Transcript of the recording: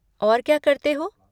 और क्या करते हो?